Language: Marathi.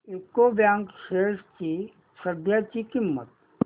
यूको बँक शेअर्स ची सध्याची किंमत